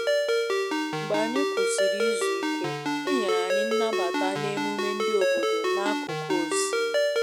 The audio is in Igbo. Mgbe anyị kwusịrị izu ike, e nyere anyị nnabata n`emume ndi obodo n`akụkụ osimmiri